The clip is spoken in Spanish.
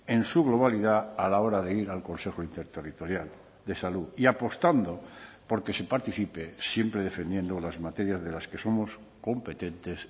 en su globalidad a la hora de ir al consejo interterritorial de salud y apostando por que se participe siempre defendiendo las materias de las que somos competentes